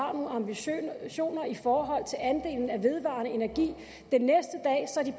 har nogle ambitioner i forhold til andelen af vedvarende energi